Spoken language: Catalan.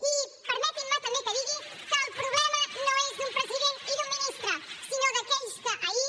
i permetin me també que digui que el problema no és d’un president i d’un ministre sinó d’aquells que ahir